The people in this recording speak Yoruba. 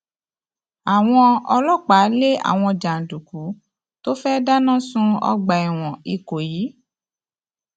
àwọn ọlọpàá lé àwọn jàǹdùkú tó fẹẹ dáná sun ọgbà ẹwọn ìkọyí